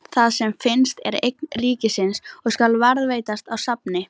Það sem finnst er eign ríkisins og skal varðveitast á safni.